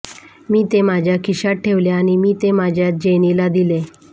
मी ते माझ्या खिशात ठेवले आणि मी ते माझ्या जेनीला दिले